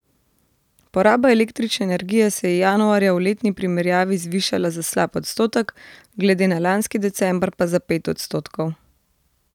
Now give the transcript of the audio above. Poraba električne energije se je januarja v letni primerjavi zvišala za slab odstotek, glede na lanski december pa za pet odstotkov.